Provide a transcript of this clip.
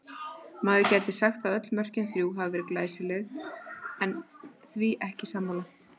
Maður gæti sagt að öll mörkin þrjú hafi verið glæsileg en ég því ekki sammála.